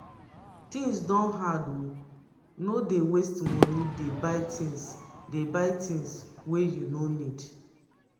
tins don hard o no dey waste moni dey buy tins dey buy tins wey you no need.